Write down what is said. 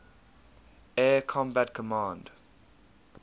air combat command